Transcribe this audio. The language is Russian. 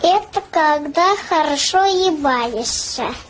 это когда хорошо ебаешься